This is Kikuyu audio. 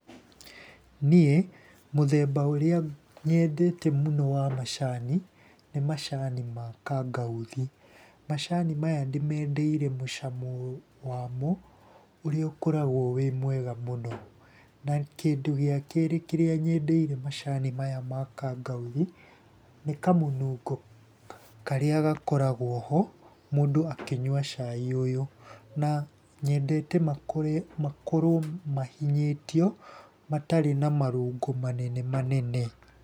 Niĩ mũthemba ũrĩa nyendete mũno wa macani, nĩ macani ma kangauthi. Macani maya ndĩmendeire mũcamo wamo, ũrĩa ũkoragwo wĩ mwega mũno. Na kĩndũ gĩa keerĩ kĩrĩa nyendeire macani maya ma kangauthi, nĩ kamũnungo karĩa gakoragwo ho, mũndũ akĩmyua cai ũyũ. Na nyendete makorwo mahinyĩtio, matarĩ ma marũngo manene manene.